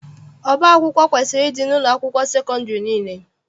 Ọba akwụkwọ kwesiri ịdị n'ụlọakwụkwọ sekọndịrị niile.